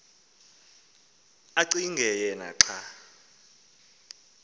acinge yena xa